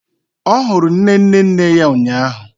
Ọ hụrụ nne nne nne ya ụnyaahụ